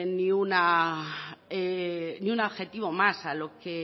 ningún adjetivo más a lo que